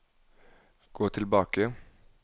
gå tilbake